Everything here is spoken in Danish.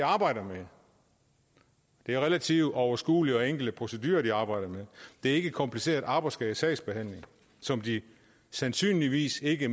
arbejder med det er relativt overskuelige og enkle procedurer de arbejder med det er ikke kompliceret arbejdsskadesagsbehandling som de sandsynligvis ikke